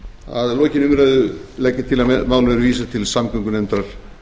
að lokinni umræðu legg ég til að málinu verði vísað til samgöngunefndar